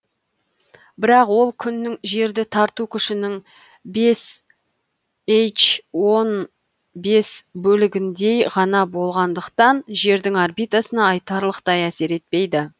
бірақ ол күннің жерді тарту күшінің бес эич он бес бес бөлігіндей ғана болғандықтан жердің орбитасына айтарлықтай әсер етпейді